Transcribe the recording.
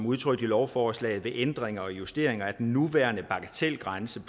udtrykt i lovforslaget ved ændring og justering af den nuværende bagatelgrænse